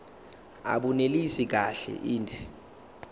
abunelisi kahle inde